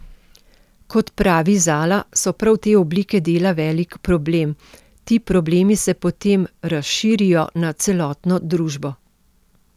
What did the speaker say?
Kot pravi Zala so prav te oblike dela velik problem: 'Ti problemi se potem razširijo na celotno družbo.